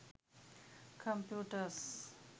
computers